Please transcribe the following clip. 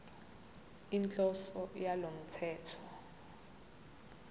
inhloso yalo mthetho